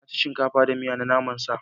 Na ci shinkafa da miya na naman sa.